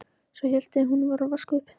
Svo hélt hún áfram að vaska upp.